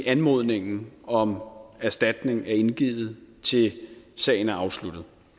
anmodningen om erstatning er indgivet til sagen er afsluttet